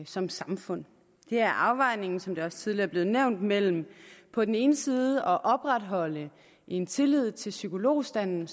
som samfund det er afvejningen som det også tidligere er blevet nævnt mellem på den ene side at opretholde en tillid til psykologstanden